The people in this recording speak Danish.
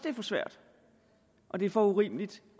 er for svært og det er for urimeligt